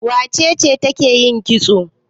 Wace ce ke yin kitso?